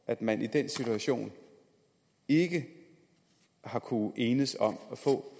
at man i den situation ikke har kunnet enes om at få